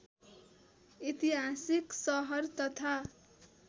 ऐतिहासिक सहर तथा